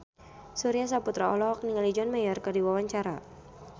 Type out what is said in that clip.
Surya Saputra olohok ningali John Mayer keur diwawancara